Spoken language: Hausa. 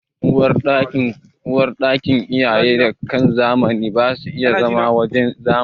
Uwarɗakin iyaye da kakanni ba su da kyan na zamani.